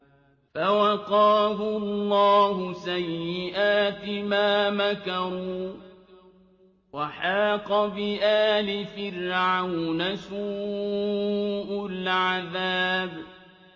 فَوَقَاهُ اللَّهُ سَيِّئَاتِ مَا مَكَرُوا ۖ وَحَاقَ بِآلِ فِرْعَوْنَ سُوءُ الْعَذَابِ